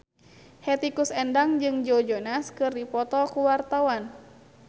Hetty Koes Endang jeung Joe Jonas keur dipoto ku wartawan